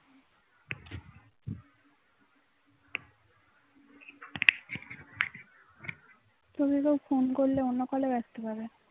তোকে তো phone করলে অন্য call এ ব্যাস্ত বলে